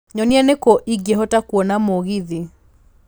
nyonia nĩkũ ingĩhota kũona mũgithi